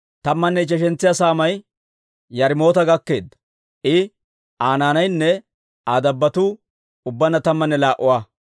Tammanne ichcheshantsa saamay Yaarimoota gakkeedda; I, Aa naanaynne Aa dabbotuu ubbaanna tammanne laa"a.